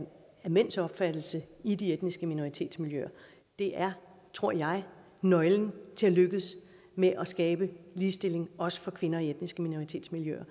mænds opfattelse i de etniske minoritetsmiljøer det er tror jeg nøglen til at lykkes med at skabe ligestilling også for kvinder i etniske minoritetsmiljøer